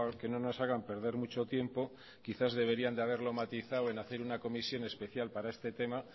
que no nos hagan perder mucho tiempo quizás deberían de haberlo matizado en hacer una comisión especial para este tema